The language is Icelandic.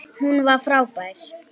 Tóti henti til hans svuntu.